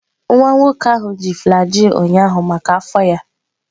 Nwa nwoke ahụ ji flagyl ụnyaahụ maka afọ ya.